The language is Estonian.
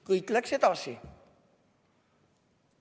Kõik läks edasi.